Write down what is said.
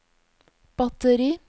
batteri